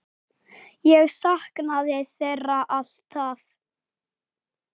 Ég saknaði þeirra alltaf.